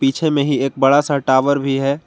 पीछे में ही एक बड़ा सा टावर भी है।